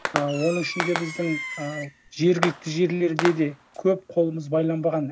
ы оның ішінде біздің ы жергілікті жерлерде де көп қолымыз байланбаған